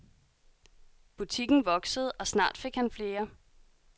Butikken voksede, og snart fik han flere.